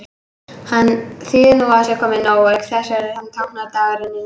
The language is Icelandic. Hann þýðir að nú sé nóg komið, auk þess sem hann táknar dagrenninguna.